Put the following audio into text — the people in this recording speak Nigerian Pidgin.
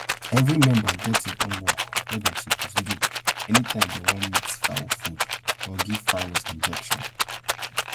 every member get im own work wey dem suppose do anytime dem want mix fowl food or give fowls injections